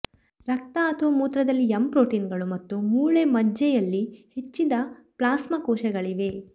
ರಕ್ತ ಅಥವಾ ಮೂತ್ರದಲ್ಲಿ ಎಂ ಪ್ರೊಟೀನ್ಗಳು ಮತ್ತು ಮೂಳೆ ಮಜ್ಜೆಯಲ್ಲಿ ಹೆಚ್ಚಿದ ಪ್ಲಾಸ್ಮಾ ಕೋಶಗಳಿವೆ